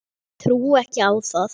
Trúi ekki á það.